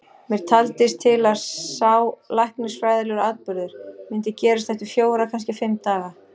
Mér taldist til að sá læknisfræðilegi atburður myndi gerast eftir fjóra, kannski fimm daga.